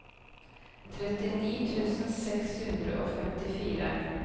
trettini tusen seks hundre og femtifire